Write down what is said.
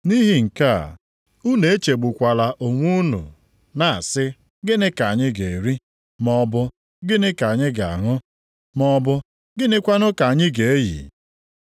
Nʼihi nke a, unu echegbukwala onwe unu na-asị, ‘Gịnị ka anyị ga-eri?’ maọbụ, ‘Gịnị ka anyị ga-aṅụ?’ maọbụ, ‘Gịnịkwa ka anyị ga-eyi?’